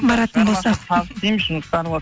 баратын болсақ